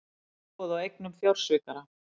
Uppboð á eignum fjársvikara